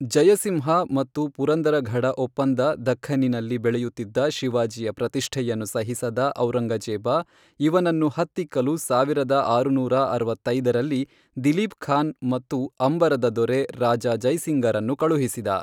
ಜಯಸಿಂಹ ಮತ್ತು ಪುರಂದರಘಡ ಒಪ್ಪಂದ ದಖ್ಖನ್ನಿನಲ್ಲಿ ಬೆಳೆಯುತ್ತಿದ್ದ ಶಿವಾಜಿಯ ಪ್ರತಿಷ್ಠೆಯನ್ನು ಸಹಿಸದ ಔರಂಗಜೇಬ ಇವನನ್ನು ಹತ್ತಿಕ್ಕಲು ಸಾವಿರದ ಆರುನೂರ ಅರವತ್ತೈದರಲ್ಲಿ, ದಿಲೀಪ್ ಖಾನ್ ಮತ್ತು ಅಂಬರದ ದೊರೆ ರಾಜ ಜೈಸಿಂಗರನ್ನು ಕಳುಹಿಸಿದ.